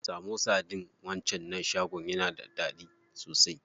Samosa ɗin wancan shagon yana da daɗi sosai.